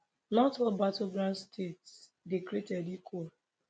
not all battleground states dey created equal